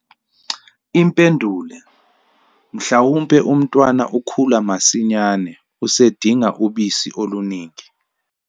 Impendulo- Mhlawumbe umntwana ukhula masinyane, usedinga ubisi oluningi.